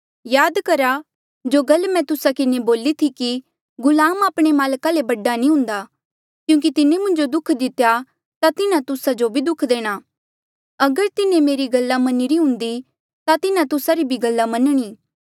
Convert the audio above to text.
याद करहा जो गल मैं तुस्सा किन्हें बोली थी कि गुलाम आपणे माल्का ले बडा नी हुन्दा क्यूंकि तिन्हें मुंजो दुःख दितेया ता तिन्हा तुस्सा जो भी देणा अगर तिन्हें मेरी गल्ला मन्निरी हुन्दी ता तिन्हा तुस्सा री गल्ला भी मन्नणी